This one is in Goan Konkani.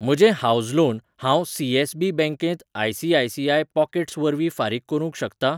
म्हजें हावस लोन हांव सी.एस.बी बँकेंत आय.सी.आय.सी.आय पॉकेट्स वरवीं फारीक करूंक शकतां?